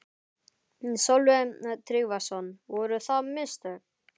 Sölvi Tryggvason: Voru það mistök?